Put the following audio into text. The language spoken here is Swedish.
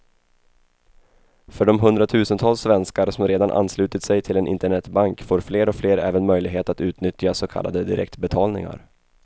För de hundratusentals svenskar som redan anslutit sig till en internetbank får fler och fler även möjlighet att utnyttja så kallade direktbetalningar.